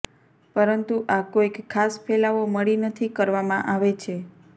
પરંતુ આ કોઈક ખાસ ફેલાવો મળી નથી કરવામાં આવે છે